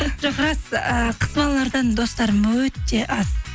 жоқ рас ііі қыз балалардан достарым өте аз